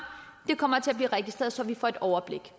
kommer til at blive registreret så vi får et overblik